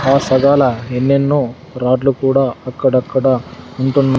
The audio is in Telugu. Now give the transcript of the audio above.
ఆ ఎన్నెన్నో రోడ్లు కూడా అక్కడక్కడ ఉంటున్నా--